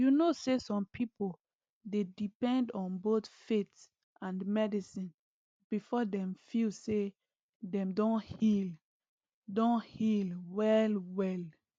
you know say some pipo dey depend on both faith and medicine before dem feel say dem don heal don heal wellwell